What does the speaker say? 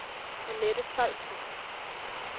Anette Tolstrup